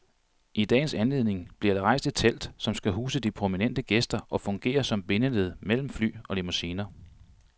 I dagens anledning bliver der rejst et telt, som skal huse de prominente gæster og fungere som bindeled mellem fly og limousiner.